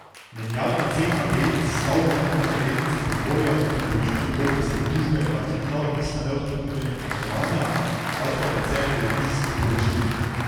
Menjalna cena delnic Stavbenika za delnice Primorja po pripojitvi koprske družbe pa ni bila odvisna le od ponudbe in povpraševanja, pač pa predvsem od revizijskih poročil.